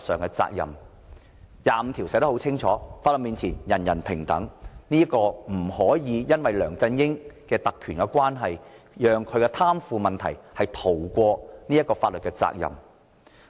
《基本法》第二十五條寫得很清楚，在法律面前人人平等，不可以因為梁振英擁有特權便讓他的貪腐行為逃過法律責任。